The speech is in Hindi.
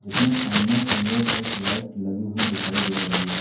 इसमें सामने की ओर एक लाइट लगी हुई दिखाई दे रही है।